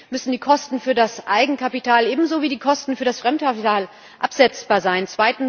Erstens müssen die Kosten für das Eigenkapital ebenso wie die Kosten für das Fremdkapital absetzbar sein.